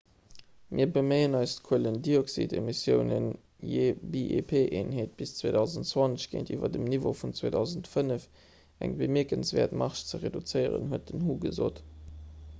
mir beméien eis d'kuelendioxidemissiounen jee bip-eenheet bis 2020 géintiwwer dem niveau vun 2005 ëm eng bemierkenswäert marge ze reduzéieren huet den hu gesot